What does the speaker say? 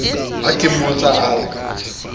ha ke mmotsa a re